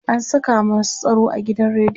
an Saka masu tsaro a gidan rediyon